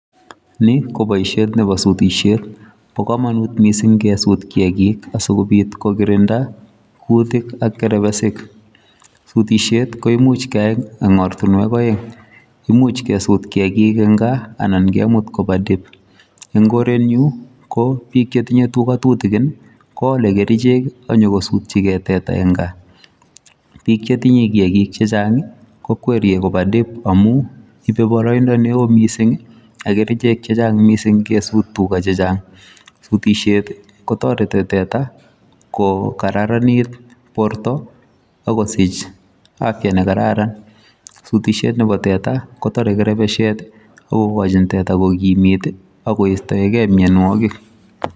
ni ko boishet nebo sutisheet, bo komonuut mising kesuut kiyagiik sigobiit kogirinda kuutik ak kerbesik, sutisheet koimuuch keyai en ortinweek oeng imuch kesut kiyagiik en kaa anan kemut kopa dip en ngorenyuun ko biik chetinye tuga tutugin iih ngoole kericheek iih ak nyokosutyigee teta en kaa, biik chetinye kiagiik chechang iih kokweriyee koba dip omuun ibe boroindo neoo mising ak kerichek chechang mising kesuut tuga che chang, sutisyeet ko toreti teta kogaraniit boorto ak kosich afya negararan, sutisheet nebo tete kotore kerbesyeet ooh igochin tete kogimiit agoistoegee myonwogik.